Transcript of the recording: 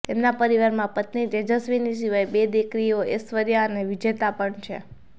તેમના પરિવારમાં પત્ની તેજસ્વિની સિવાય બે દિકરીઓ એશ્વર્યા અને વિજેતા પણ છે